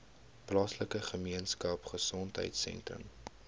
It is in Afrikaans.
plaaslike gemeenskapgesondheid sentrum